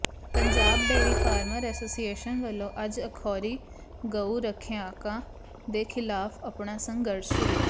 Punjab dairy farmer association ਵੱਲੋਂ ਅੱਜ ਅਖੌਤੀ ਗਊ ਰੱਖਿਅਕਾਂ ਦੇ ਖਿਲਾਫ ਆਪਣਾ ਸੰਘਰਸ਼ ਸ਼ੁਰੂ